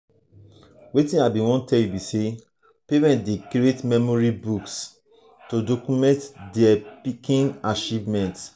parents dey create memory books to document dier pikin achievement.